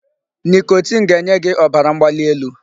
Nicotine ga-enye gị ọbara mgbali elu.